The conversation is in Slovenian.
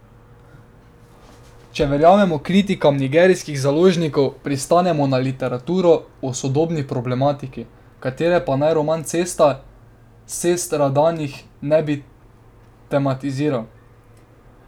Če verjamemo kritikam nigerijskih založnikov, pristanemo na literaturo o sodobni problematiki, katere pa naj roman Cesta sestradanih ne bi tematiziral.